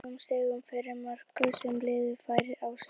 Að frádregnum stigum fyrir mörk sem liðið fær á sig.